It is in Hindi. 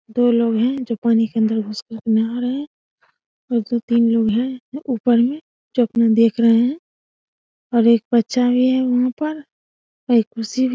दो लोग है जो पानी के अंदर घुसकर नहा रहे ये जो तीन लोग है ऊपर में चोपिंग देख रहे है और एक बच्चा भी है वहाँ पर और एक कुर्सी भी |